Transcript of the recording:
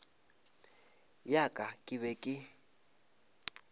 ya ka ke be ke